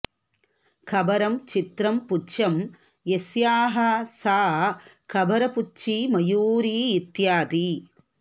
कबरं चित्रं पुच्छं यस्याः सा कबरपुच्छी मयूरी इत्यादि